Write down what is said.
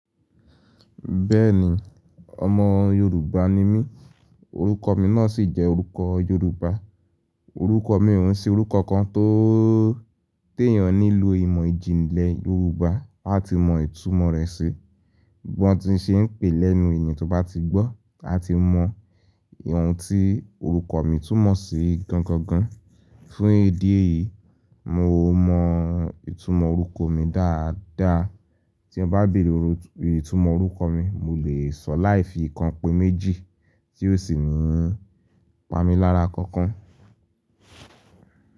Bẹ́ẹ̀ni ọmọ Yorùbá ni mí, orúkọ mi náà sì jẹ́ orúkọ Yorùbá. Orúkọ mi òun sì orúkọ kan tó téyàn nílò ìmọ̀ ìjìnlẹ̀ Yorùbá láti mọ ìtumọ̀ rẹ̀ sí. Bi wọn ti ń ṣe é pè lẹ́nu ènìyàn tó bá ti gbọ́ áti mọ oun ti orúkọ mi túmọ̀ sí gangan. Fún ìdí èyí, mo mọ ìtumọ̀ orúkọ mi dáadáa. Tí ọ n bá bèrè ìtumọ̀ orúkọ mi, mo lè sọ láì fi ìkànpé méjì tí ó sì ní pamí lára kankan.